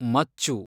ಮಚ್ಚು